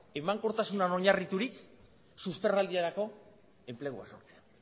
emankortasunean oinarriturik susperraldirako enplegua sortzen